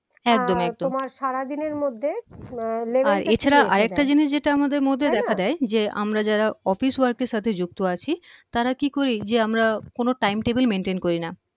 একদম একদম আহ তোমার সারাদিনের মধ্যে আহ এ ছাড়া আরেকটা জিনিস যেটা আমাদের মধ্যে দেখা যায় যে আমরা যারা office work এর সাথে যুক্ত আছি তারা কি করি যে আমরা কোনো time table maintain করি না